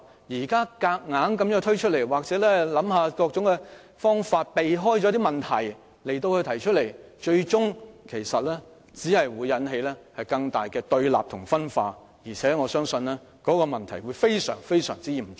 如現時強行推出或提出各種方法，藉此逃避問題，最終只會引起更大的對立和分化，我相信後果將非常嚴重。